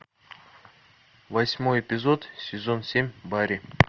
восьмой эпизод сезон семь барри